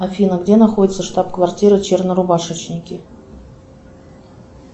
афина где находится штаб квартира чернорубашечники